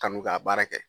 Kanu ka baara kɛ